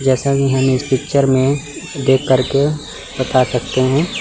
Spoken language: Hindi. जैसा कि हम इस पिक्चर में देख करके बता सकते हैं।